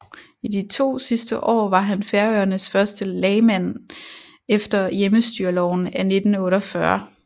I de to sidste år var han Færøernes første lagmand efter hjemmestyreloven af 1948